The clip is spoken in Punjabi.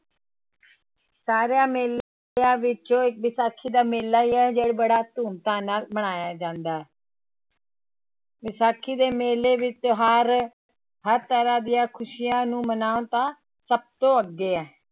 ਸਾਰਿਆਂ ਮੇਲਿਆਂ ਵਿੱਚੋਂ ਵਿਸਾਖੀ ਦਾ ਮੇਲਾ ਹੀ ਹੈ ਜੋ ਬੜਾ ਧੂਮ ਧਾਮ ਨਾਲ ਮਨਾਇਆ ਜਾਂਦਾ ਹੈ ਵਿਸਾਖੀ ਦੇ ਮੇਲੇ ਵਿੱਚ ਹਰ ਹਰ ਤਰ੍ਹਾਂ ਦੀਆਂ ਖ਼ੁਸ਼ੀਆਂ ਨੂੰ ਸਭ ਤੋਂ ਅੱਗੇ ਹੈ